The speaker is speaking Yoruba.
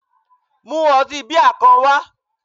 mu otí Bai kán wa